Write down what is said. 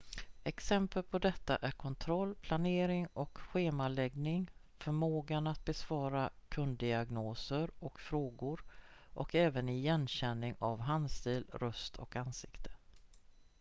exempel på detta är kontroll planering och schemaläggning förmågan att besvara kunddiagnoser och frågor och även igenkänning av handstil röst och ansikte